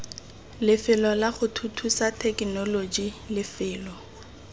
lefelo lago thuthusa thekenoloji lefelo